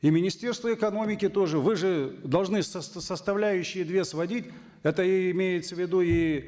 и министерство экономики тоже вы же должны составляющие две сводить это имеется в виду и